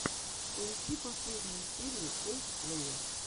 поищи последнюю серию колдплэя